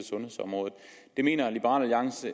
sundhedsområdet der mener liberal alliance